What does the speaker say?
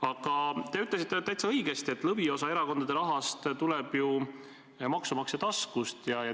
Aga te ütlesite täitsa õigesti, et lõviosa erakondade rahast tuleb ju maksumaksja taskust.